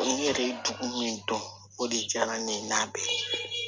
Ni yɛrɛ ye dugu min don o de diyara ne ye n'a bɛɛ ye